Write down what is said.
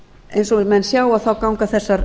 eins og menn sjá ganga þessar